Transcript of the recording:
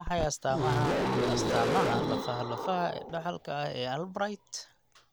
Waa maxay astaamaha iyo astaamaha lafaha lafaha ee dhaxalka ah ee Albright?